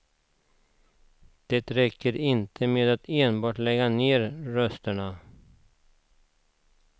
Det räcker inte med att enbart lägga ner rösterna.